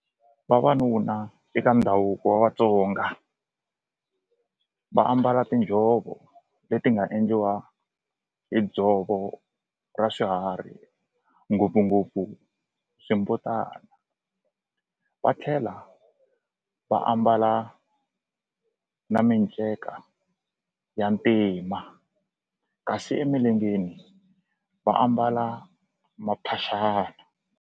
Vavanuna eka ndhavuko wa Vatsonga va ambala tinjhovo leti nga endliwa hi dzovo ra swiharhi ngopfungopfu swimbutana va tlhela va ambala na miceka ya ntima kasi emilengeni va ambala maphaxani.